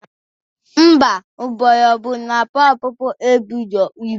Ḿbà, mgbọrọgwụ na mkpaakwụkwọ eburo ibu.